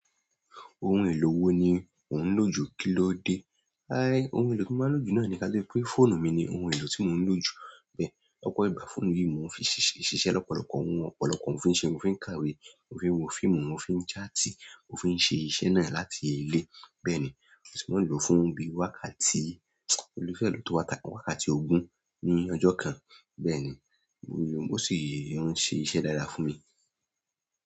Ohun èlò wo ni ò ń lò jù kílóde? Aii ohun èlò tí mo máa ń lò jù náà ni kí a tó pe fóònù mi ni ohun èlò tí mo ń lò jù bẹ́ẹ̀. Ọ̀pọ̀ ìgbà fóònù yìí ni mò ń fi ṣiṣẹ́ lọ́pọ̀lọpọ̀ ohun, ọ̀pọ̀lọpọ́ ohun fi ń ṣe, mo fi ń kàwé, mo fi ń wo fíìmù, mo fi ń jáàtì, mo fi ń ṣe iṣẹ́ náà láti ilé bẹ́ẹ̀ ni, mo sì máa ń lòó fún bí wákàtí mo le fẹ́ lòó tó wákàtí ogún ní ọjọ́ kan bẹ́ẹ̀ ni, ó sì ń ṣe iṣẹ́ dáadáa fún mi.